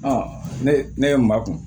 ne ne ye n ba kun